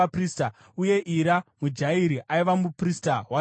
uye Ira muJairi aiva muprista waDhavhidhi.